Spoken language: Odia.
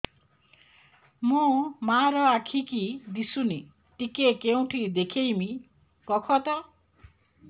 ମୋ ମା ର ଆଖି କି ଦିସୁନି ଟିକେ କେଉଁଠି ଦେଖେଇମି କଖତ